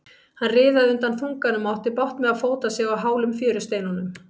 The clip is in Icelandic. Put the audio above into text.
Hann riðaði undan þunganum og átti bágt með að fóta sig á hálum fjörusteinunum.